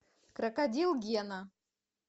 крокодил гена